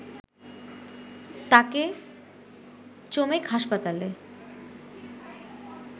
তাকে চমেক হাসপাতালে